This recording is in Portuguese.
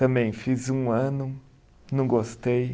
Também fiz um ano, não gostei.